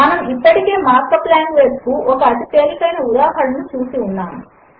మనము ఇప్పటికే markup language కు ఒక అతి తేలికైన ఉదాహరణను చూసి ఉన్నాము